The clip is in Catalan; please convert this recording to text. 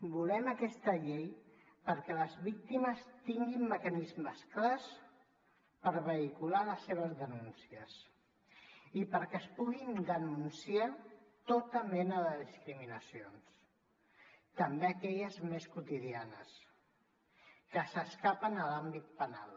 volem aquesta llei perquè les víctimes tinguin mecanismes clars per vehicular les seves denúncies i perquè es puguin denunciar tota mena de discriminacions també aquelles més quotidianes que s’escapen a l’àmbit penal